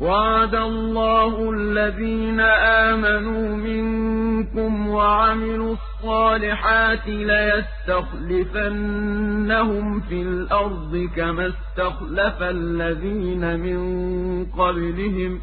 وَعَدَ اللَّهُ الَّذِينَ آمَنُوا مِنكُمْ وَعَمِلُوا الصَّالِحَاتِ لَيَسْتَخْلِفَنَّهُمْ فِي الْأَرْضِ كَمَا اسْتَخْلَفَ الَّذِينَ مِن قَبْلِهِمْ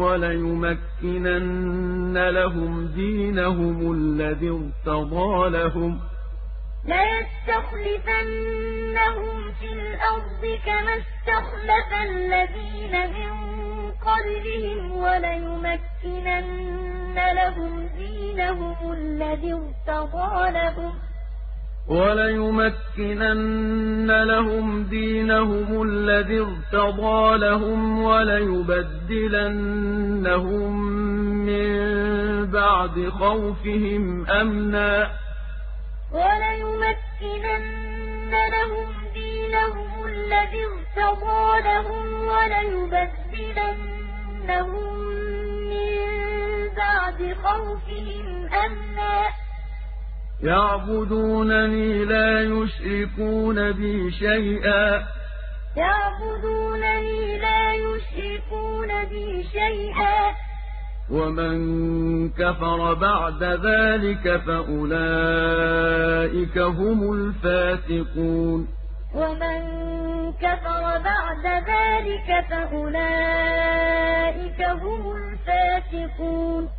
وَلَيُمَكِّنَنَّ لَهُمْ دِينَهُمُ الَّذِي ارْتَضَىٰ لَهُمْ وَلَيُبَدِّلَنَّهُم مِّن بَعْدِ خَوْفِهِمْ أَمْنًا ۚ يَعْبُدُونَنِي لَا يُشْرِكُونَ بِي شَيْئًا ۚ وَمَن كَفَرَ بَعْدَ ذَٰلِكَ فَأُولَٰئِكَ هُمُ الْفَاسِقُونَ وَعَدَ اللَّهُ الَّذِينَ آمَنُوا مِنكُمْ وَعَمِلُوا الصَّالِحَاتِ لَيَسْتَخْلِفَنَّهُمْ فِي الْأَرْضِ كَمَا اسْتَخْلَفَ الَّذِينَ مِن قَبْلِهِمْ وَلَيُمَكِّنَنَّ لَهُمْ دِينَهُمُ الَّذِي ارْتَضَىٰ لَهُمْ وَلَيُبَدِّلَنَّهُم مِّن بَعْدِ خَوْفِهِمْ أَمْنًا ۚ يَعْبُدُونَنِي لَا يُشْرِكُونَ بِي شَيْئًا ۚ وَمَن كَفَرَ بَعْدَ ذَٰلِكَ فَأُولَٰئِكَ هُمُ الْفَاسِقُونَ